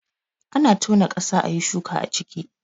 Ana tona ƙasa ayi shuka a ciki